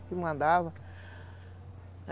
Que mandava.